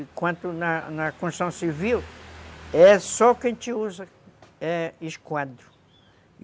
Enquanto na na Constituição Civil é só o que a gente usa, é esquadro.